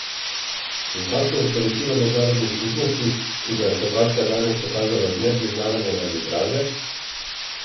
In kakšno je sporočilo mednarodni skupnosti, ki ga je Hrvaška danes pokazala z nepriznavanjem arbitraže?